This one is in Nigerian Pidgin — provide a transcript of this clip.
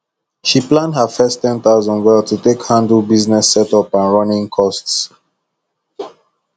she plan her first 10000 well to take handle business setup and running costs